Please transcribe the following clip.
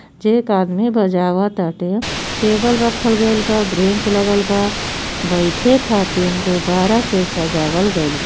जे एक आदमी बजावताटे टेबल रखल गइल बा ब्रेंच लगल बा बैठे खातीर गुब्बारा से सजावल गइल बा।